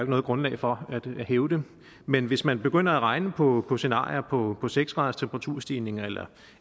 noget grundlag for at hævde men hvis man begynder at regne på på scenarier på på seks graders temperaturstigning eller